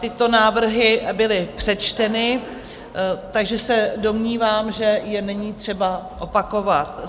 Tyto návrhy byly přečteny, takže se domnívám, že je není třeba opakovat.